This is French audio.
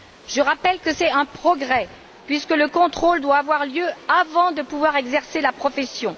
Je rappelle que c'est un progrès, puisque le contrôle doit avoir lieu avant de pouvoir exercer la profession.